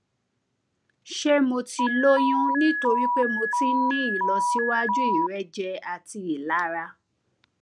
ṣé mo ti lóyún nítorí pé mo ti ń ní ìlọsíwájú ìrẹjẹ àti ìlara